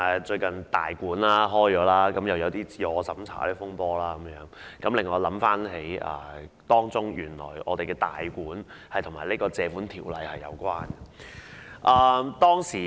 最近"大館"開幕，發生了"自我審查"風波，令我想起原來"大館"是與《條例》有關的。